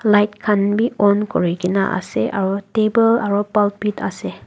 light khan bi on kurigena ase aro table aro pulpit ase.